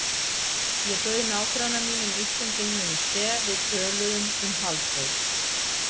Ég bauð nágranna mínum Íslendingnum í te, við töluðum um Halldór